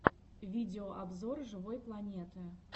видеообзор живой планеты